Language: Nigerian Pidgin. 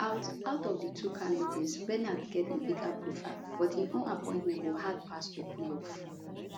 out out of di two candidates renard get a bigger profile but im own appointment go hard pass to pull off